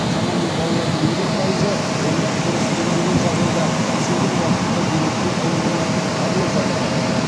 шамамен балалардың елу пайызы оны дұрыс емдеген жағдайда есейген уақытында демікпе ауруынан арылып жатады